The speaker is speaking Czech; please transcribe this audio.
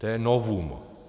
To je novum.